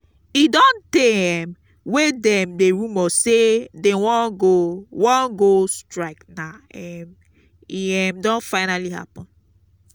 e don tey um wey dem dey rumor say dey wan go wan go strike now um e um don finally happen